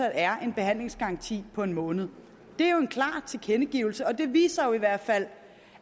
er en behandlingsgaranti på en måned det er jo en klar tilkendegivelse og det viser jo i hvert fald